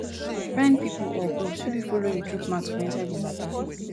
find pipo or groups wey fit follow you chook mouth for inside di matter